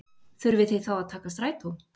Þurfið þið þá nokkuð að taka strætó?